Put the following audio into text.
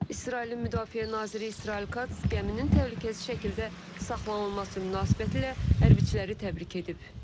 İsrailin müdafiə naziri İsrail Kats gəminin təhlükəsiz şəkildə saxlanılması münasibətilə hərbiçiləri təbrik edib.